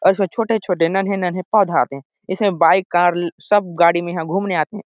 और इसमे छोटे-छोटे नन्हे-नन्हे पौधा आथे इसमे बाइक कार ल सब गाड़ी म इहाँ घूमे आथे।